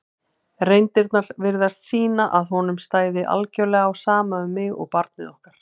reyndirnar virtust sýna að honum stæði algjörlega á sama um mig og barnið okkar.